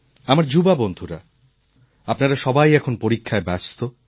আমার যুবা বন্ধুরা আপনারা সবাই এখন পরীক্ষায় ব্যস্ত